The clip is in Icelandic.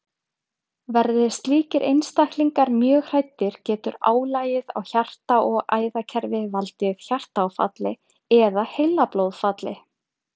Verði slíkir einstaklingar mjög hræddir getur álagið á hjarta- og æðakerfið valdið hjartaáfalli eða heilablóðfalli.